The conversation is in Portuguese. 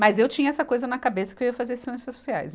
Mas eu tinha essa coisa na cabeça que eu ia fazer ciências sociais.